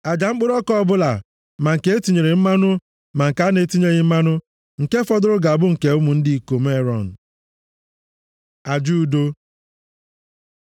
Aja mkpụrụ ọka ọbụla, ma nke e tinyere mmanụ, ma nke a na-etinyeghị mmanụ, nke fọdụrụ ga-abụ nke ụmụ ndị ikom Erọn. Aja udo